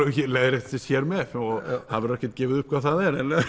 leiðréttist hér með það verður ekkert gefið upp hvað það